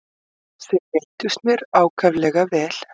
Þau reyndust mér ákaflega vel.